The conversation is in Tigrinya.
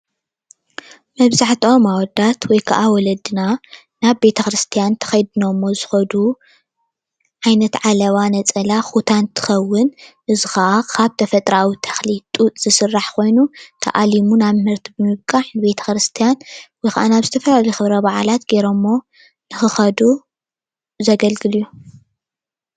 መብዝሕትኦም ኣወዳት ወይ ከዓ ወለድና ናብ ቤተክርስትያን ተከዲኖሞ ዝከዱ ዓይነት ዓለባ ነፀላ ኩታ እንትከውን እዚ ከዓ ካብ ተፈጥራኣዊ ተክሊ ጡጥ ዝስራሕ ኮይኑ ተኣሊሙ ናብ ምህርቲ ብምብቃዕ ናብ ቤተክርስትያን ወይ ከዓ ናብ ዝተፈላለየ ክብረ በዓላት ተከዲነሞ ንክከዱ ዘገልግል እዩ፡፡